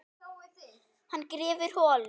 Hann grefur holu.